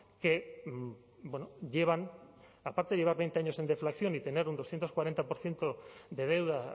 que llevan aparte de llevar veinte años en deflación y tener un doscientos cuarenta por ciento de deuda